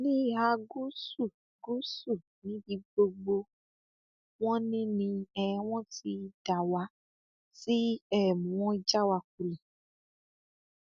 ní ìhà gúúsù gúúsù níbi gbogbo wọn ni ni um wọn ti dá wa tí um wọn já wa kulẹ